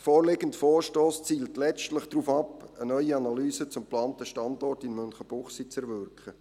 Der vorliegende Vorstoss zielt letztlich darauf ab, eine neue Analyse zum geplanten Standort in Münchenbuchsee zu erwirken.